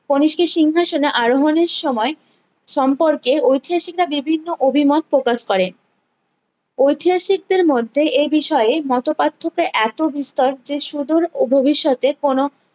কণিষ্কের সিংহাসনে আরোহনের সময়ে সম্পর্কে ঐতিহাসিকরা বিভিন্ন অভিমত প্রকাশ করেন ঐতিহাসিকদের মধ্যে এই বিষয়ে এ মতো পার্থক্য এত বিস্তর যে সুদুর ভবিষ্যতে কোনো